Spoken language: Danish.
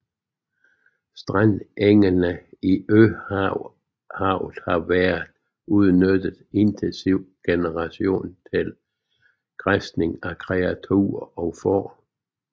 Strandengene i Øhavet har været udnyttet intensivt i generationer til græsning af kreaturer og får